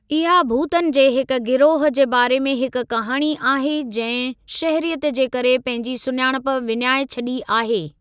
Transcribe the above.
इहा भूतनि जे हिक गिरोह जे बारे में हिक कहाणी आहे जंहिं शहरीयत जे करे पंहिंजी सुञाणप विञाइ छॾी आहे।